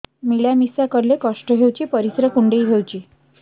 ମିଳା ମିଶା କଲେ କଷ୍ଟ ହେଉଚି ପରିସ୍ରା କୁଣ୍ଡେଇ ହଉଚି